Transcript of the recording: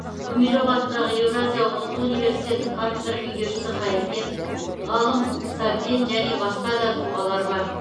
гумилев атындағы еуразия ұлттық университетінің кафедра меңгерушісі қайыркен ғалым сәбден және басқа да тұлғалар бар